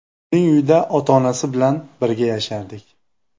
Uning uyida ota-onasi bilan birga yashardik.